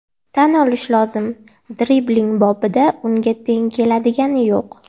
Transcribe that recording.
Tan olish lozim, dribling bobida unga teng keladigani yo‘q.